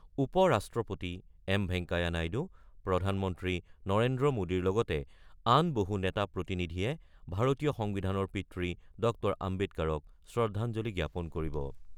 উপ-ৰাষ্ট্ৰপতি এম ভেংকায়া নাইডু, প্ৰধানমন্ত্ৰী নৰেন্দ্ৰ মোডীৰ লগতে আন বহু নেতা-প্ৰতিনিধিয়ে ভাৰতীয় সংবিধানৰ পিতৃ ড আম্বেদকাৰক শ্ৰদ্ধাঞ্জলি জ্ঞাপন কৰিব।